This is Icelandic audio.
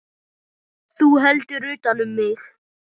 Þú heldur utan um mig.